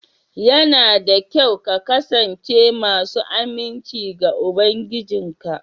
Yana da kyau ka kasance masu aminci ga ubangijinka